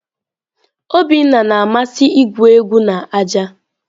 Obinna na-amasị igwu egwu na aja.